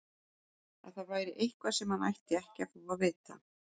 Að það væri eitthvað sem hann ætti ekki að fá að vita.